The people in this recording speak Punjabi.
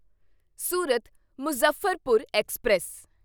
ਸੂਰਤ ਮੁਜ਼ੱਫਰਪੁਰ ਐਕਸਪ੍ਰੈਸ